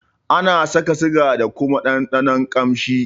Ana saka siga da kuma ɗanɗanon kamshi.